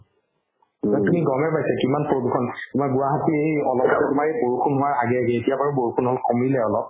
আপুনি গ'মে পাইছে কিমান প্ৰদূষণ মই গুৱাহাটী এৰি অলপ বৰষুণ হোৱাৰ আগে আগে এতিয়া বাৰু বৰষুণ অলপ কমিলে অলপ